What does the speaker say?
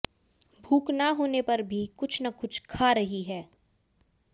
भूख न होने पर भी कुछ न कुछ खा रही हैं